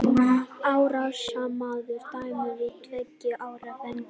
Árásarmaður dæmdur í tveggja ára fangelsi